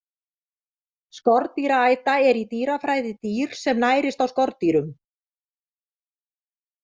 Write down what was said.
Skordýraæta er í dýrafræði dýr sem nærist á skordýrum.